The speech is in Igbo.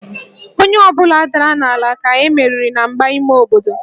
Onye ọ bụla dara n'ala ka e meriri na mgba ime obodo